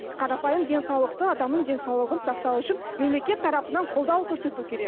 қарапайым денсаулықты адамның денсаулығын сақтау үшін мемлекет тарапынан қолдау көрсету керек